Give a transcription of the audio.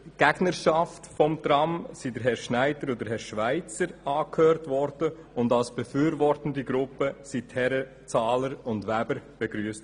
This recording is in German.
Seitens der Gegnerschaft des Trams wurden die Herren Schneider und Schweizer angehört und als befürwortende Gruppe wurden die Herren Zahler und Weber begrüsst.